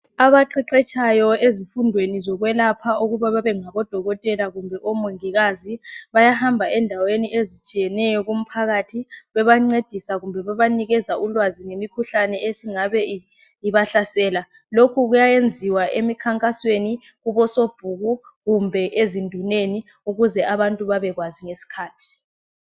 Abaqeqetshayo ezifundweni zokwelapha ukuba babe ngabodokotela kumbe omongikazi. Bayahamba endaweni ezitshiyeneyo kumphakathi bebancedisa kumbe bebanikeza ulwazi ngemikhuhlane esingabe ibahlasela. lokhu kuyayenziwa emikhankasweni kubo sobhuku kumbe ezinduneni ukuze abantu babekwazi ngesikhathi.